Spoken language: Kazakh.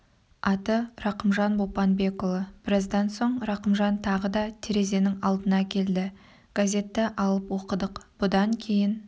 аты рақымжан бопанбекұлы біраздан соң рақымжан тағы да терезенің алдына келді газетті алып оқыдық бұдан кейін